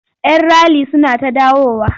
Yan rali suna ta dawowa.